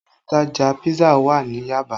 Ilé ìtajà pisa wà ní Yaba